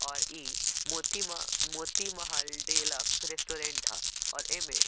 और इ मोती मा मोती महल डीलक्स रेस्टोरेंट हअ और एमे --